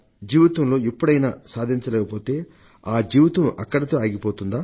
జీవితంలో ఎప్పుడైనా సాధించలేకపోతే ఆ జీవితం అక్కడితో ఆగిపోతుందా